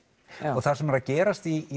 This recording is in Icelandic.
og það sem er að gerast í